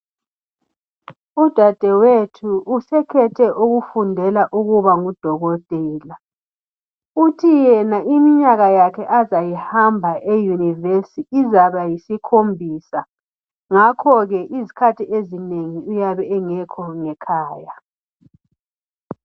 udadewethu usekhethe ukufundela ukuba ngu dokotela uthi yena iminyaka yakhe azayihamba e universe izaba yisikhombisa ngakho ke izikhathi ezinengi uyabe engekho ngekhaya